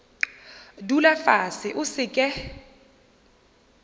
dula fase o se ke